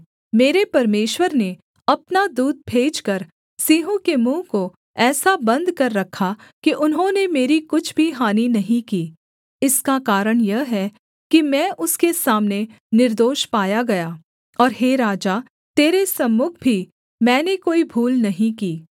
मेरे परमेश्वर ने अपना दूत भेजकर सिंहों के मुँह को ऐसा बन्द कर रखा कि उन्होंने मेरी कुछ भी हानि नहीं की इसका कारण यह है कि मैं उसके सामने निर्दोष पाया गया और हे राजा तेरे सम्मुख भी मैंने कोई भूल नहीं की